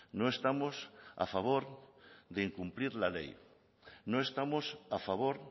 no estamos a favor de incumplir la ley no estamos a favor